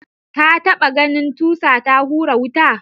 Ta ɓata ganin tusa ta hura wuta?